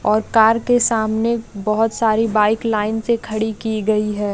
और कार के सामने बहोत सारी बाइक लाइन से खड़ी की गयी है।